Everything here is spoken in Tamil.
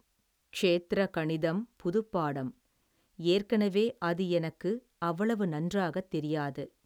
ஷேத்திர கணிதம் புதுப்பாடம் ஏற்கனவே அது எனக்கு அவ்வளவு நன்றாகத் தெரியாது.